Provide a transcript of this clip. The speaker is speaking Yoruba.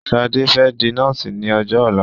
Ṣadé fẹ́ di nọ́ọ̀sì ní ọjọ́ ọ̀la.